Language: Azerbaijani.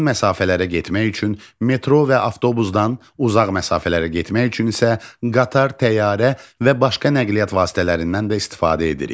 Yaxın məsafələrə getmək üçün metro və avtobusdan, uzaq məsafələrə getmək üçün isə qatar, təyyarə və başqa nəqliyyat vasitələrindən də istifadə edirik.